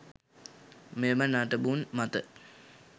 මෙම නටබුන් මත